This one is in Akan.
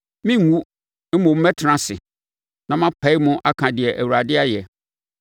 Merenwu, mmom mɛtena ase na mapae mu aka deɛ Awurade ayɛ.